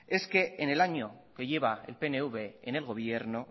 es que en el año que lleva el pnv en el gobierno